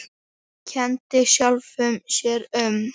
Kenndi sjálfum sér um.